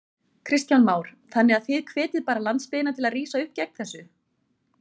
Kristján Már: Þannig að þið hvetjið bara landsbyggðina til að rísa upp gegn þessu?